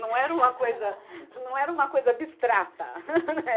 Não era uma coisa, não era uma coisa abstrata.